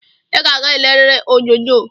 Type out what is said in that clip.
I ga-aga eleriri onyonyo!